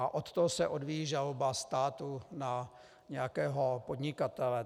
A od toho se odvíjí žaloba státu na nějakého podnikatele.